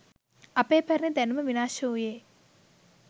අපේ පැරණි දැනුම විනාශ වූයේ